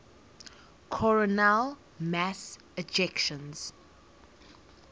coronal mass ejections